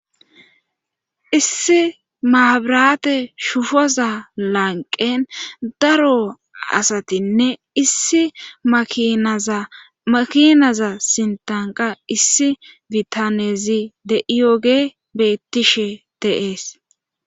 issi maabirate shufoza lanqen daro asatinne issi makinaza sintanqa issi bitanezi de7iyooge bettishe de,es